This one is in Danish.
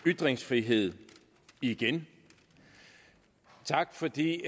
ytringsfrihed igen tak fordi